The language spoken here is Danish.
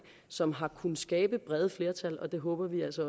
som har kunnet skabe brede flertal og det håber vi altså